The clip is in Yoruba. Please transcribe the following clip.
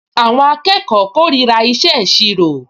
Àwọn akẹ́kọ̀ọ kórìíra ìṣe ìṣirò